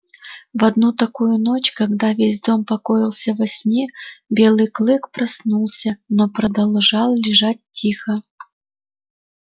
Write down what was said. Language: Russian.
в одну такую ночь когда весь дом покоился во сне белый клык проснулся но продолжал лежать тихо